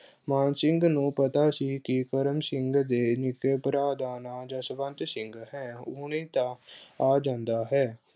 ਮਾਨ ਸਿੰਘ ਨੂੰ ਪਤਾ ਸੀ ਕਿ ਕਰਮ ਸਿੰਘ ਦੇ ਨਿੱਕੇ ਭਰਾ ਦਾ ਨਾਂ ਜਸਵੰਤ ਸਿੰਘ ਹੈ, ਉਹ ਤਾਂ ਆ ਜਾਂਦਾ ਹੈ।